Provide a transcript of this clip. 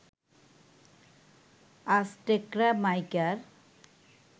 অ্যাজটেকরা মাইকার